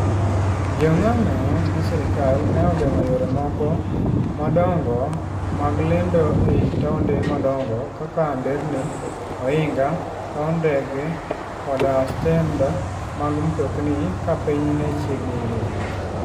Jo ng'anyo ne sirkal ne ogeng'o yore moko madongo mag lendo e taonde madongo kaka nderni, ohinga, paw ndege, koda stend mag mtokni ka piny ne chiegni ru.